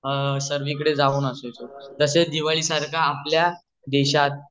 सर्वी कडे जाऊन असायचो तसेच दिवाळी सारखे आपल्या